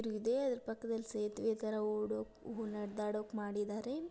ಇದೆ ಅದ್ರ ಪಕ್ಕದಲ್ಲಿ ಸೇತುವೆ ತರ ಓಡೋಕು ನಡದಾಡೋಕ್ ಮಾಡಿದ್ದಾರೆ.